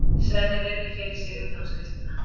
Svenni virðir fyrir sér utanáskriftina.